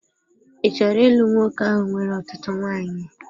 Ị chọrọ ịlụ nwoke ahụ nwere ọtụtụ nwanyị?